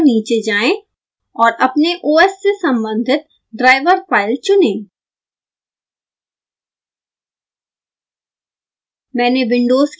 इस वेबसाइट पर नीचे जाएँ और अपने os से सम्बंधित ड्राईवर फाइल चुनें